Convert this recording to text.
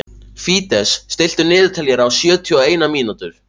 Fídes, stilltu niðurteljara á sjötíu og eina mínútur.